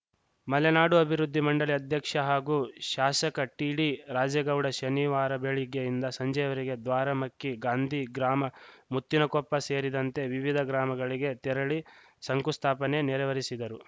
ಮಲೆನಾಡು ಅಭಿವೃದ್ಧಿ ಮಂಡಳಿ ಅಧ್ಯಕ್ಷ ಹಾಗೂ ಶಾಸಕ ಟಿಡಿ ರಾಜೇಗೌಡ ಶನಿವಾರ ಬೆಳಗ್ಗೆಯಿಂದ ಸಂಜೆಯವರೆಗೂ ದ್ವಾರಮಕ್ಕಿ ಗಾಂಧೀಗ್ರಾಮ ಮುತ್ತಿನಕೊಪ್ಪ ಸೇರಿದಂತೆ ವಿವಿಧ ಗ್ರಾಮಗಳಿಗೆ ತೆರಳಿ ಶಂಕುಸ್ಥಾಪನೆ ನೆರವೇರಿಸಿದರು